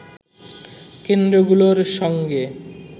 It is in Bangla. কেন্দ্রগুলোর সঙ্গে